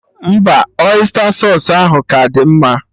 Mba, ọysta sausụ ahụ ka dị mma